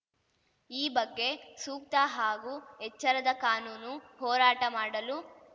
ಈ ಬಗ್ಗೆ ಸೂಕ್ತ ಹಾಗೂ ಎಚ್ಚರದ ಕಾನೂನು ಹೋರಾಟ ಮಾಡಲು